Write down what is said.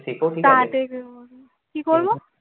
কি করবো?